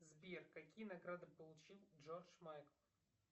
сбер какие награды получил джордж майкл